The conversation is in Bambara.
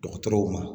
Dɔgɔtɔrɔw ma